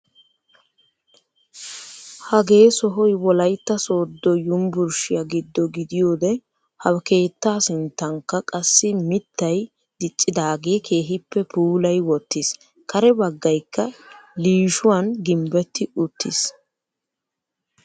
Hagee sohoy wollaytta soodo yunburushiyaa giddo gidiyoode ha keettaa sinttankka qassi miittay diccidaagee keehippe puulayi wottiis. kare baggaykka liishshuwan gimbbetti uttiis.